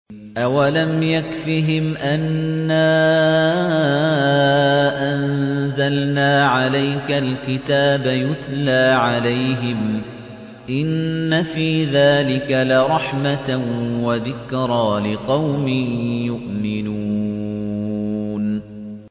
أَوَلَمْ يَكْفِهِمْ أَنَّا أَنزَلْنَا عَلَيْكَ الْكِتَابَ يُتْلَىٰ عَلَيْهِمْ ۚ إِنَّ فِي ذَٰلِكَ لَرَحْمَةً وَذِكْرَىٰ لِقَوْمٍ يُؤْمِنُونَ